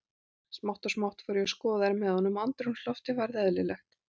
Smátt og smátt fór ég að skoða þær með honum og andrúmsloftið varð eðlilegt.